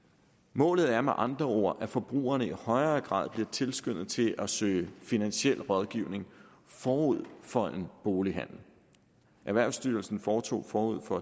målet er med andre ord at forbrugerne i højere grad bliver tilskyndet til at søge finansielle rådgivning forud for en bolighandel erhvervsstyrelsen foretog forud for